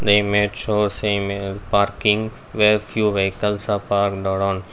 the image shows a parking where few vehicles are parked around.